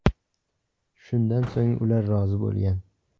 Shundan so‘ng ular rozi bo‘lgan.